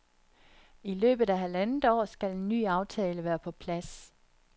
I løbet af halvandet år skal en ny aftale være på plads.